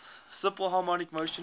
simple harmonic motion